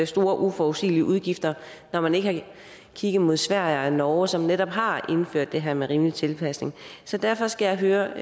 store og uforudsigelige udgifter når man ikke har kigget mod sverige og norge som netop har indført det her med en rimelig tilpasning så derfor skal jeg høre